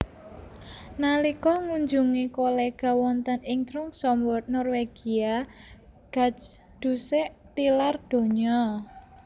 Nalika ngunjungi kolega wonten ing Tromsoe Norwegia Gajdusek tilar donya